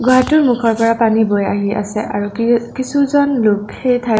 গুহাটোৰ মুখৰ পৰা পানী বৈ আহি আছে আৰু কি-কিছুজন লোক সেই ঠাইত--